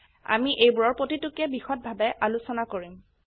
আমি এইবোৰৰ প্ৰতিটোকে বিষদভাবে আলোচনা কৰিম